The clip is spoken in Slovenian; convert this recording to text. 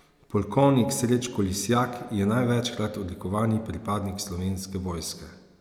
Polkovnik Srečko Lisjak je največkrat odlikovani pripadnik slovenske vojske.